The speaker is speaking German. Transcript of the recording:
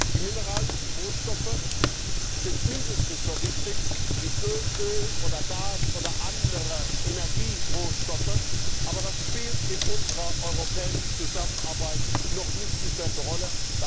Die mineralischen Rohstoffe sind mindestens so wichtig wie Öl oder Gas oder andere Energierohstoffe, aber das spielt in unserer europäischen Zusammenarbeit noch nicht dieselbe Rolle